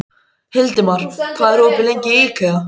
Hildimar, hvað er opið lengi í IKEA?